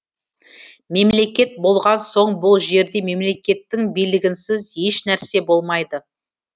мемлекет болған соң бұл жерде мемлекеттің билігінсіз ешнәрсе болмайды